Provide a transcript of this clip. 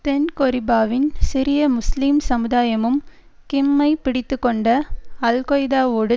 தென் கொரிபாவின் சிறிய முஸ்லீம் சமுதாயமும் கிம்மை பிடித்துக்கொண்ட அல் கொய்தாவோடு